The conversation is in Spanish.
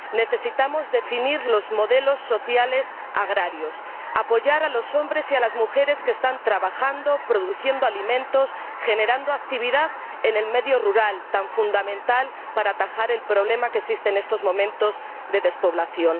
Necesitamos definir los modelos sociales agrarios, apoyar a los hombres y a las mujeres que están trabajando, produciendo alimentos, generando actividad en el medio rural —tan fundamental para atajar el problema que existe en estos momentos de despoblación—.